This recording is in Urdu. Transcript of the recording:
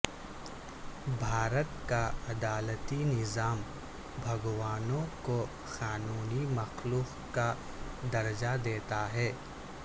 بھارت کا عدالتی نظام بھگوانوں کو قانونی مخلوق کا درجہ دیتا ہے